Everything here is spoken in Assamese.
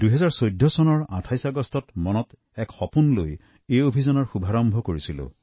২০১৪ চনৰ ২৮ আগষ্টত এটা সপোন লৈ এই যোজনা আৰম্ভ কৰা হৈছিল